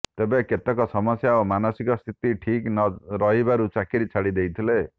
ତେବେ କେତେକ ସମସ୍ୟା ଓ ମାନସିକ ସ୍ଥିତି ଠିକ ନ ରହିବାରୁ ଚାକିରୀ ଛାଡି ଦେଇ ଥିଲେ